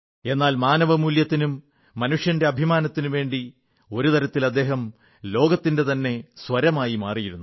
എന്നാൽ മാനവമൂല്യത്തിനും മനുഷ്യന്റെ അഭിമാനത്തിനും വേണ്ടി ഒരു തരത്തിൽ അദ്ദേഹം ലോകത്തിന്റെ തന്നെ സ്വരമായി മാറിയിരുന്നു